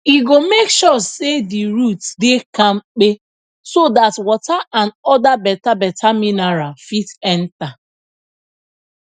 e go make sure say the roots dey kampe so dat water and other betabeta mineral fit enta